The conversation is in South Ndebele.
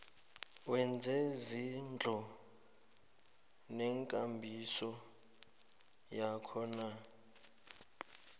wezezindlu nekambiso yakhona